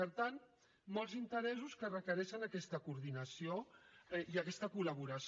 per tant molts interessos que requereixen aquesta coordinació i aquesta col·laboració